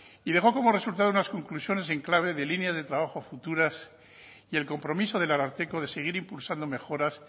y dejó como resultado unas conclusiones en clave de línea de trabajo futuras y el compromiso del ararteko de seguir impulsando mejoras